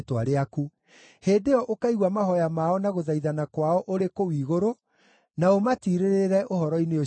hĩndĩ ĩyo ũkaigua mahooya mao na gũthaithana kwao ũrĩ kũu igũrũ, na ũmatirĩrĩre ũhoro-inĩ ũcio wao.